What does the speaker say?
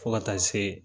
Fo ka taa se